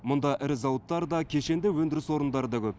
мұнда ірі зауыттар да кешенді өндіріс орындары да көп